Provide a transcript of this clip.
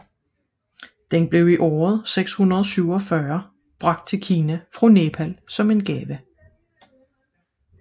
Den blev i år 647 bragt til Kina fra Nepal som en gave